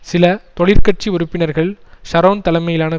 சில தொழிற்கட்சி உறுப்பினர்கள் ஷரோன் தலைமையிலான